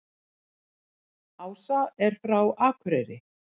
Ása er frá Akureyri.